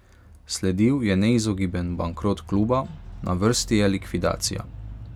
Sledil je neizogiben bankrot kluba, na vrsti je likvidacija.